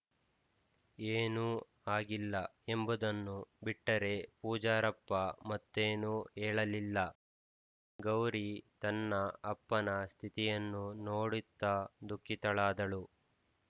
ಏನೂ ಆಗಿಲ್ಲ ಎಂಬುದನ್ನು ಬಿಟ್ಟರೆ ಪೂಜಾರಪ್ಪ ಮತ್ತೇನೂ ಹೇಳಲಿಲ್ಲ ಗೌರಿ ತನ್ನ ಅಪ್ಪನ ಸ್ಥಿತಿಯನ್ನು ನೋಡಿತ್ತ ದುಃಖಿತಳಾದಳು